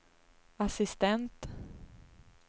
assistent